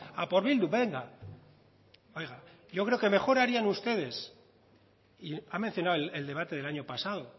a por bildu venga oiga yo creo que mejor harían ustedes y ha mencionado el debate del año pasado